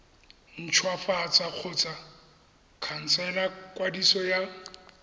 ntshwafatsa kgotsa khansela kwadiso ya